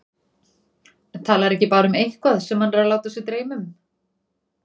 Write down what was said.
Talar ekki bara um eitthvað sem hann er að láta sig dreyma um.